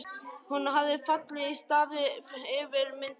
Hún hefur fallið í stafi yfir myndinni.